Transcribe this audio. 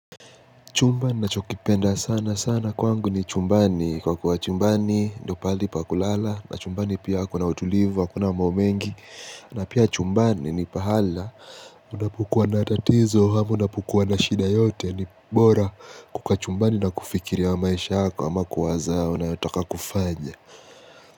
Chumba nachokipenda sana sana kwangu ni chumbani kwa kuwa chumbani ndo paali pa kulala na chumbani pia kuna utulivu akuna momengi na pia chumbani ni pahala unapukua na tatizo hama unapukua na shida yote ni bora kuka chumbani na kufikiria maisha yako ama kuwaza unayotoka kufanya.